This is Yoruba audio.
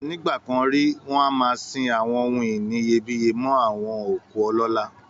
Nígbà kan rí, wọn a máa sin àwọn ohun ìní iyebíyé mọ́ àwọn òkú ọlọ́lá